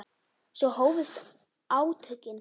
Svo hófust átökin.